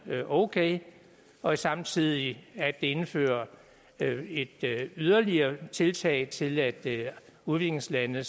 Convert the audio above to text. okay og samtidig at indført et yderligere tiltag til at hjælpe udviklingslandene